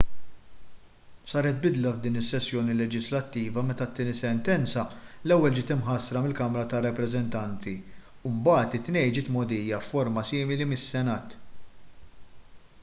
saret bidla f'din is-sessjoni leġislattiva meta t-tieni sentenza l-ewwel ġiet imħassra mill-kamra tar-rappreżentanti u mbagħad it-tnejn ġiet mgħoddija f'forma simili mis-senat